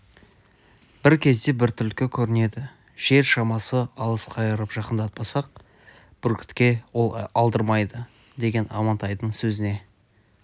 бір кезде бір түлкі көрінеді жер шамасы алыс қайырып жақындатпасақ бүркітке ол алдырмайды деген амантайдың сөзіне